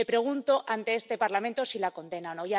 Le pregunto ante este Parlamento si la condena o no.